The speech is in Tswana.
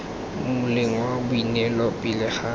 moleng wa boineelo pele ga